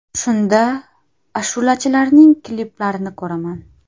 Shunda ashulachilarning kliplarini ko‘raman.